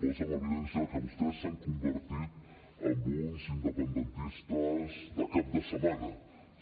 posen en evidència que vostès s’han convertit en uns independentistes de cap de setmana